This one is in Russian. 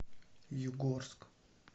югорск